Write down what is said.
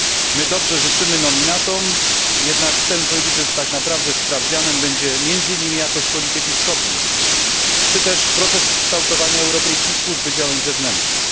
My dobrze życzymy nominatom, jednak chcemy powiedzieć, że tak naprawdę sprawdzianem będzie między innymi jakość polityki wschodniej czy też proces kształtowania europejskiej służby działań zewnętrznych.